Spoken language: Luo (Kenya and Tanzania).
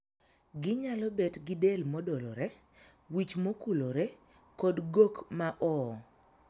Ginyalo bet gi del modolore, wich mokulore kod gok ma oo.